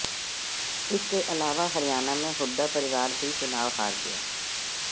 इसके अलावा हरियाणा में हुड्डा परिवार भी चुनाव हार गया